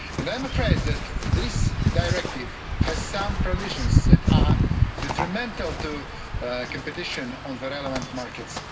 I'm afraid that this directive has some provisions that are detrimental to competition in the relevant markets.